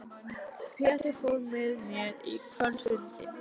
Pétur fór með mér á kvöldfundinn.